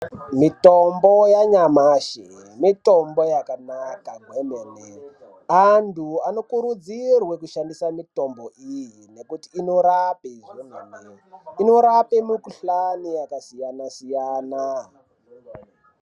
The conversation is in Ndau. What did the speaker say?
Mitombo yanyamashi mitombo yakanaka kwemene. Antu anokurudzirwe kushandisa mitombo iyi nekuti inorape zvemene, inorape mukuhlani yakasiyana-siyana.